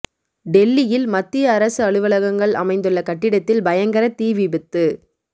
டெல்லியில் மத்திய அரசு அலுவலகங்கள் அமைந்துள்ள கட்டிடத்தில் பயங்கர தீ விபத்து